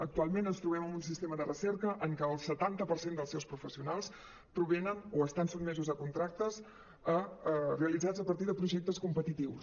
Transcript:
actualment ens trobem amb un sistema de recerca en què el setanta per cent dels seus professionals provenen o estan sotmesos a contractes realitzats a partir de projectes competitius